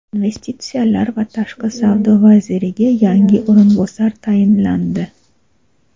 Investitsiyalar va tashqi savdo vaziriga yangi o‘rinbosar tayinlandi.